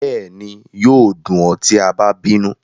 Bẹẹni, yoo dun ọ ti a ba binu